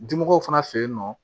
Dimɔgɔw fana fe yen nɔ